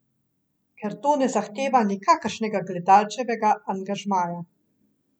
Ker to ne zahteva nikakršnega gledalčevega angažmaja.